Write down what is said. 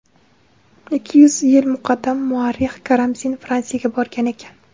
Ikki yuz yil muqaddam muarrix Karamzin Fransiyaga borgan ekan.